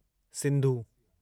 Sindhu